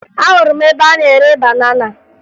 Ahụrụ m ebe a na-ere banana